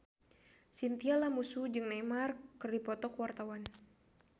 Chintya Lamusu jeung Neymar keur dipoto ku wartawan